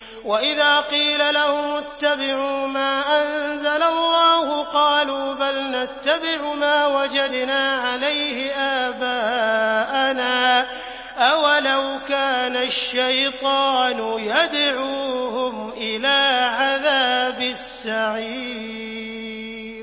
وَإِذَا قِيلَ لَهُمُ اتَّبِعُوا مَا أَنزَلَ اللَّهُ قَالُوا بَلْ نَتَّبِعُ مَا وَجَدْنَا عَلَيْهِ آبَاءَنَا ۚ أَوَلَوْ كَانَ الشَّيْطَانُ يَدْعُوهُمْ إِلَىٰ عَذَابِ السَّعِيرِ